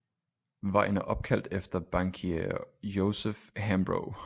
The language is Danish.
Vejen er opkaldt efter bankier joseph hambro